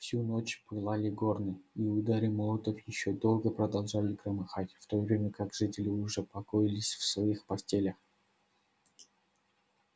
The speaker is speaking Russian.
всю ночь пылали горны и удары молотов ещё долго продолжали громыхать в то время как жители уже покоились в своих постелях